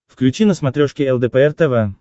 включи на смотрешке лдпр тв